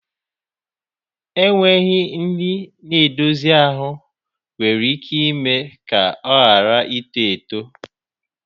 Enweghị nri na-edozi ahụ nwere ike ime ka ọ ghara ito eto.